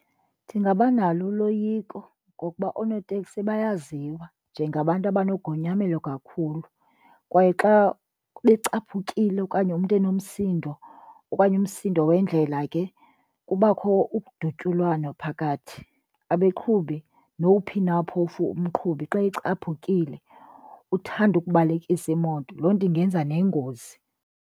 Ndingabanalo uloyiko ngokuba oonoteksi bayaziwa njengabantu abanogonyamelo kakhulu kwaye xa becaphukile okanye umntu enomsindo okanye umsindo wendlela ke kubakho udutyulwano phakathi. Abeqhubi, nowuphi na phofu umqhubi, xa ecaphukile uthanda ukubalekisa imoto. Loo nto ingenza nengozi.